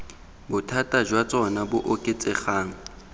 bothata jwa tsona bo oketsegang